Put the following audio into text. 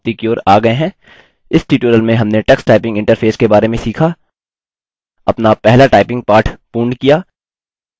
इस ट्यूटोरियल में हमने टक्सटाइपिंग इंटरफेस के बारे में सीखा अपना पहला टाइपिंग पाठ पूर्ण किया